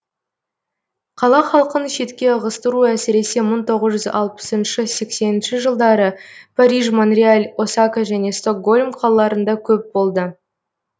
қала халқын шетке ығыстыру әсіресе мың тоғыз жүз алпысыншы сексенінші жылдары париж монреал осака және стокгольм қалаларында көп болды